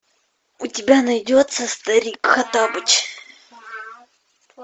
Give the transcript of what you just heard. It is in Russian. у тебя найдется старик хоттабыч